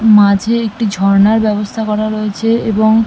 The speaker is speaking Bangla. মাঝে একটি ঝর্ণার ব্যবস্থা করা রয়েছে। এবং--